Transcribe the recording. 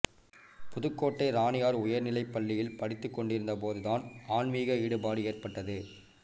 புதுக்கோட்டை ராணியார் உயர்நிலைப் பள்ளியில் படித்துக் கொண்டிருந்தபோதுதான் ஆன்மீக ஈடுபாடு ஏற்பட்டது